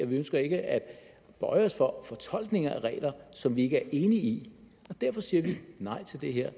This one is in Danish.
vi ønsker ikke at bøje os for fortolkninger af regler som vi ikke er enige i derfor siger vi nej til det her